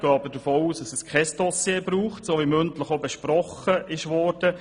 Wir gehen davon aus, dass es kein Dossier braucht, wie das mündlich besprochen wurde.